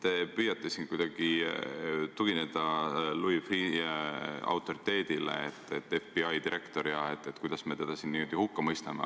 Te püüate siin tugineda Louis Freeh' autoriteedile – ta on FBI direktor ja kuidas me saame teda hukka mõista.